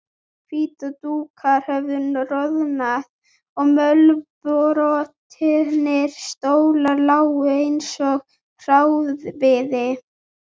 Hvítir dúkar höfðu roðnað og mölbrotnir stólar lágu einsog hráviði.